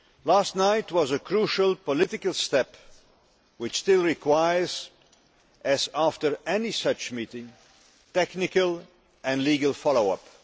Last night was a crucial political step which still requires, as after any such meeting, technical and legal follow up.